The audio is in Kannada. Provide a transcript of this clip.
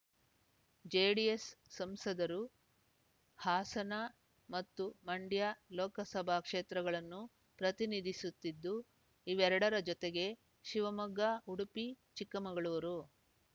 ಜೆಡಿಎಸ್ ಸಂಸದರು ಹಾಸನ ಮತ್ತು ಮಂಡ್ಯ ಲೋಕಸಭಾ ಕ್ಷೇತ್ರಗಳನ್ನು ಪ್ರತಿನಿಧಿಸುತ್ತಿದ್ದು ಇವೆರಡರ ಜೊತೆಗೆ ಶಿವಮೊಗ್ಗ ಉಡುಪಿ ಚಿಕ್ಕಮಂಗಳೂರು